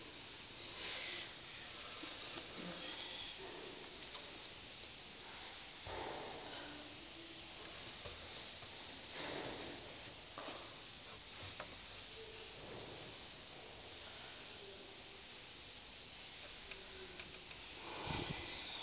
xesha ke thina